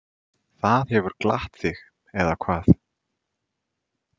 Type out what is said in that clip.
Það hefur glatt þig, eða hvað?